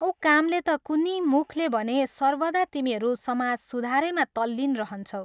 औ कामले ता कुन्नि, मुखले भने सर्वदा तिमीहरू समाज सुधारैमा तल्लीन रहन्छौ।